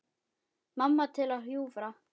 Mamma til að hjúfra.